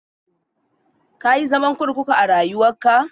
Ka yi zaman kurkuku a rayuwarka?